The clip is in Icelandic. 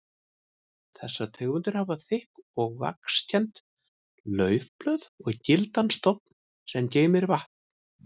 Þessar tegundir hafa þykk og vaxkennd laufblöð og gildan stofn sem geymir vatn.